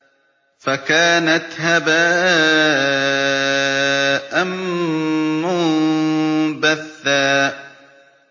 فَكَانَتْ هَبَاءً مُّنبَثًّا